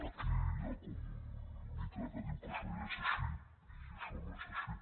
aquí hi ha com un mite que diu que això ja és així i això no és així